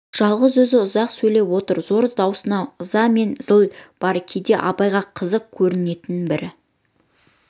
жалғыз өзі ұзақ сөйлеп отыр зор даусында ыза мен зіл бар кейде абайға қызық көрінетін бір